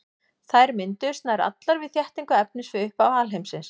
Þær mynduðust nær allar við þéttingu efnis við upphaf alheimsins.